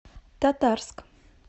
татарск